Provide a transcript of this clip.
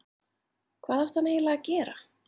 Hvað átti hann eiginlega að gera?